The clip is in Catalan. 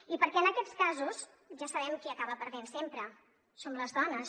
i perquè en aquests casos ja sabem qui acaba perdent sempre som les dones